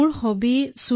আচ্চা তোমাৰ হবী কি